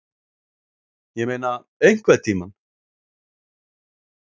Ég meina EINHVERNTÍMANN?